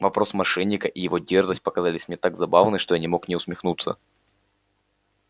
вопрос мошенника и его дерзость показались мне так забавны что я не мог не усмехнуться